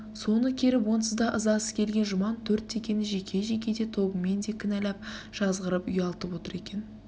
соны керіп онсыз да ызасы келген жұман төрт текені жеке-жеке де тобымен де кінәлап жазғырып үялтып отыр екен